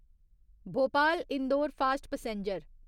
Bhopal Indore fast passenger